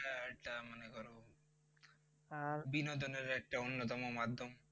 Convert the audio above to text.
বিনোদনের একটা অন্যতম মাধ্যম